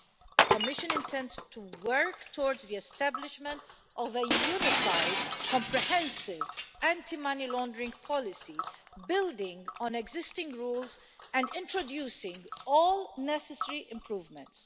The Commission intends to work towards the establishment of a unified, comprehensive anti money laundering policy, building on existing rules and introducing all necessary improvements.